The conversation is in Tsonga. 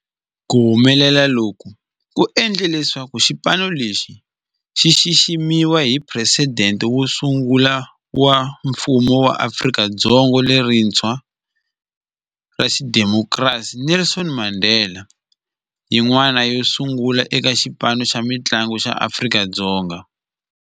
Ku humelela loku ku endle leswaku xipano lexi xi xiximiwa hi Presidente wo sungula wa Mfumo wa Afrika-Dzonga lerintshwa ra xidemokirasi, Nelson Mandela, yin'wana yo sungula eka xipano xa mintlangu xa Afrika-Dzonga.